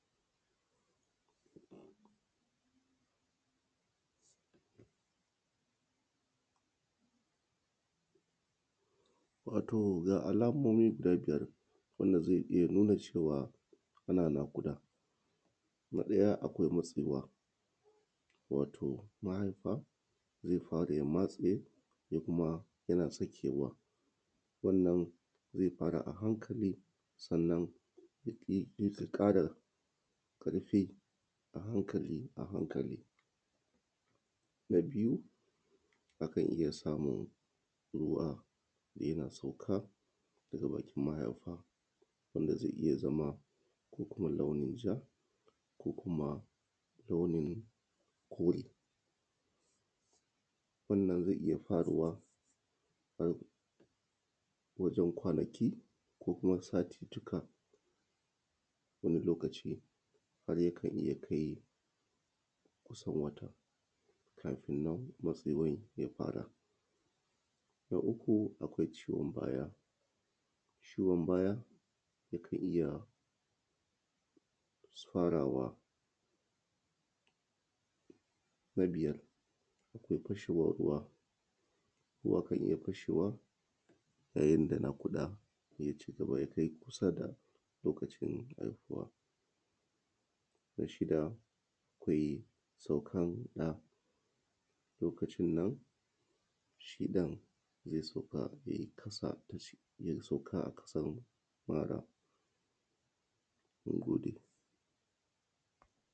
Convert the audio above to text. Wato ga alaman wanda zai iya nuna cewa ana naƙuda: na ɗaya akwai matsewa, wato mahaifa zai fara ya matse, zai kuma yana sakewa. Wannan zai fara a hankali, sanna yake ƙara rufe a hankali a hankali. Na biyu akan iya samun ruwa yana sauka daga bakin mahaifa, wanda zai iya zama launin ja ko kuma launin kore. Wannan zai faruwa, wajen kwanaki ko kuma satuttuka, wani lokaci ha rya kai kusan wata, kafin nan, matsewar ya fara. Na uku, akwai ciwon baya, ciwon baya, yakan iya farawa. Na biyar sai fashewar ruwa, za ta iya fashewa yayin da naƙuda ya ci gaba, ya kai kusa da lokacin haihuwa. Wasu da akwai saukanta, lokacin nan, suna iya sugan zai sauka ya yi ƙasa, ya sauka a ƙasan mara. Mun gode.